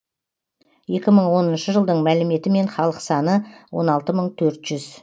екі мың оныншы жылдың мәліметімен халық саны он алты мың төрт жүз